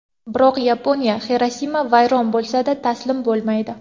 Biroq Yaponiya Xirosima vayron bo‘lsa-da, taslim bo‘lmaydi.